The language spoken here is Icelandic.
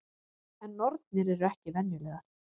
En nornir eru ekki venjulegar.